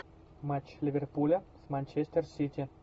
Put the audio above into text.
матч ливерпуля с манчестер сити